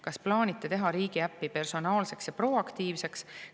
Kas plaanite teha riigiäpp personaalseks ja proaktiivseks?